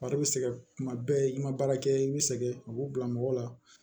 Fari bɛ sɛgɛn kuma bɛɛ i ma baara kɛ i bɛ sɛgɛn u b'u bila mɔgɔ la